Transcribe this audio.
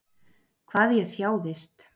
Hvað ég þjáðist.